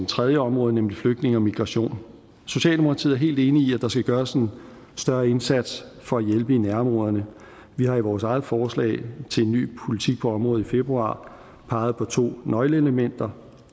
tredje område nemlig flygtninge og migration socialdemokratiet er helt enig i at der skal gøres en større indsats for at hjælpe i nærområderne vi har i vores eget forslag til en ny politik på området fra februar peget på to nøgleelementer